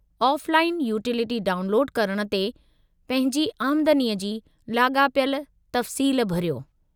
Offline utility डाउनलोडु करणु ते, पंहिंजी आमदनीअ जी लाॻापियलु तफ़सील भरियो।